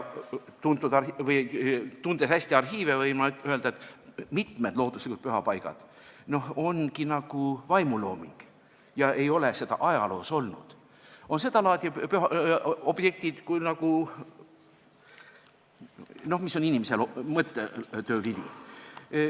Tundes hästi arhiive, võin ma öelda, et mitmed looduslikud pühapaigad ongi nagu vaimulooming, ajaloos ei ole neid olnud, nad on sedalaadi objektid, mis on inimese mõttetöö vili.